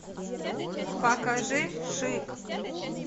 покажи шик